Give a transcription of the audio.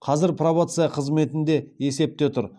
қазір пробация қызметінде есепте тұр